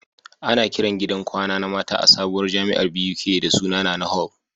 Ana Kiran gidan kwana na mata a sabuwar jamiar Buk da suna NaNa hall